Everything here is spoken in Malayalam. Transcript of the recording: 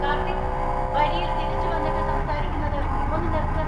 കാർത്തിക്! വരിയിൽ തിരിച്ചുവന്നിട്ട് സംസാരിക്കുന്നത് ഒന്ന് നിർത്ത്.